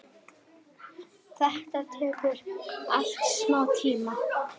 Þetta tekur allt smá tíma.